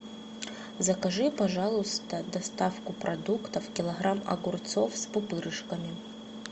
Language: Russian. закажи пожалуйста доставку продуктов килограмм огурцов с пупырышками